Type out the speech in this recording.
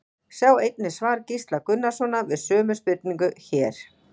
Sjá einnig svar Gísla Gunnarssonar við sömu spurningu, hér.